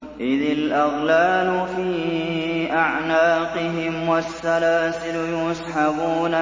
إِذِ الْأَغْلَالُ فِي أَعْنَاقِهِمْ وَالسَّلَاسِلُ يُسْحَبُونَ